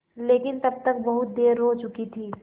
लेकिन तब तक बहुत देर हो चुकी थी